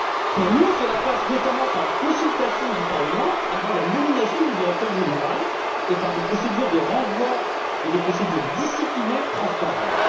Pour nous, cela passe notamment par la consultation du Parlement avant la nomination du directeur général et par des procédures de renvoi et des procédures disciplinaires transparentes.